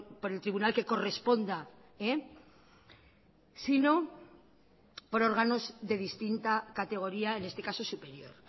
por el tribunal que corresponda si no por órganos de distinta categoría en este caso superior